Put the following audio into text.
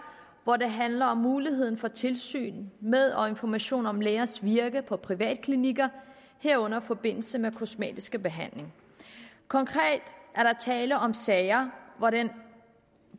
hvor det handler om muligheden for tilsyn med og information om lægers virke på privatklinikker herunder i forbindelse med kosmetiske behandlinger konkret er der tale om sager hvor den